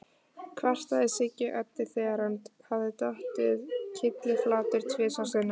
kvartaði Siggi Öddu, þegar hann hafði dottið kylliflatur tvisvar sinnum.